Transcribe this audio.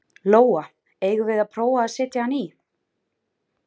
Lóa: Eigum við að prófa að setja hann í?